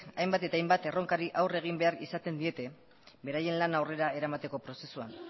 hainbat eta hainbat erronkari aurre egin behar izaten diete beraien lana aurrera eramateko prozesuan